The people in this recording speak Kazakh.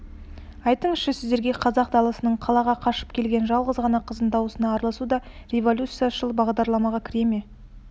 айтыңызшы сіздерге қазақ даласынан қалаға қашып келген жалғыз ғана қыздың дауына араласу да революцияшыл бағдарламаға кіре ме